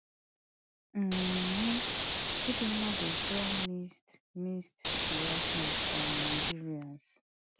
um chidimma dey draw mist mixed reactions from nigerians